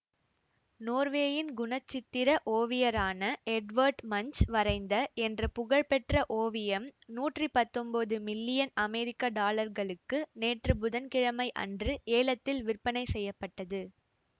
நோர்வேயின் குணச்சித்திர ஓவியரான Edward Munch வரைந்த என்ற புகழ் பெற்ற ஓவியம் நூற்றி பத்தொன்போது மில்லியன் அமெரிக்க டாலர்களுக்கு நேற்று புதன்கிழமை அன்று ஏலத்தில் விற்பனை செய்ய பட்டது